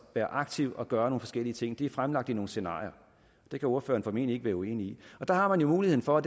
være aktiv og gøre nogle forskellige ting det er fremlagt i nogle scenarier det kan ordføreren formentlig ikke være uenig i der har man jo mulighed for og